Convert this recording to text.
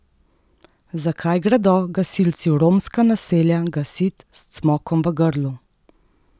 Zakaj gredo gasilci v romska naselja gasit s cmokom v grlu?